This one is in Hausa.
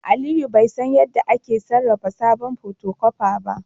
Aliyu bai san yadda ake sarrafa sabon photocopier ba